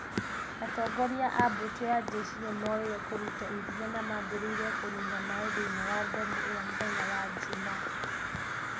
Atongoria a mbũtũ ya njeshi nĩ nĩmoire kũruta ikinya na maambĩrĩirie kũniina maĩ thĩinĩ wa ndemũ ĩyo muthenya wa jumaa